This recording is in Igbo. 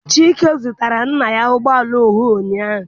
Chike zụtara nna ya ụgbọala ọhụụ ụnyaahụ.